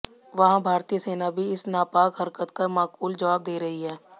वहीं भारतीय सेना भी इस नापाक हरकत का माकूल जवाब दे रही है